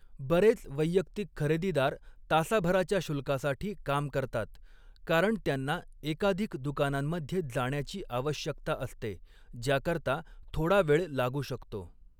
बरेच वैयक्तिक खरेदीदार तासाभराच्या शुल्कासाठी काम करतात, कारण त्यांना एकाधिक दुकानांमध्ये जाण्याची आवश्यकता असते, ज्याकरता थोडा वेळ लागू शकतो.